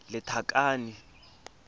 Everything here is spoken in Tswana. lethakane